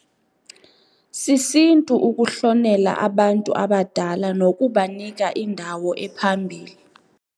Sisintu ukuhlonela abantu abadala nokubanika indawo ephambili